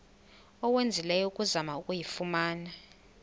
owenzileyo ukuzama ukuyifumana